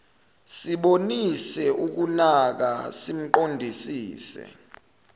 sibonise ukunaka simqondisise